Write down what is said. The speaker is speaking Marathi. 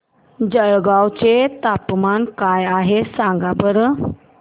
जळगाव चे तापमान काय आहे सांगा बरं